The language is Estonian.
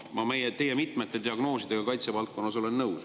Ma olen mitmete teie diagnoosidega kaitsevaldkonnas nõus.